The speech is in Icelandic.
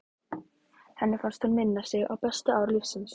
Henni fannst hún minna sig á bestu ár lífsins.